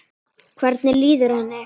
Hvernig líður henni?